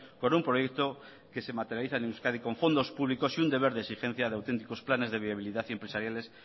con un proyecto que se materializa en euskadi con fondos públicos y un deber de exigencia de auténticos planes de viabilidad y empresariales